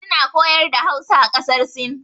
Su na koyar da Hausa a ƙasar sin.